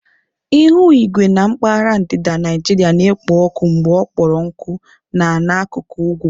Ihu igwe na mpaghara ndịda Naijiria na-ekpo ọkụ mgbe ọ kpọrọ nkụ na n'akuku ugwu.